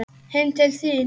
Heim til þín?